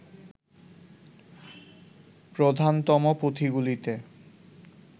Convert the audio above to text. প্রধানতম পুঁথিগুলিতে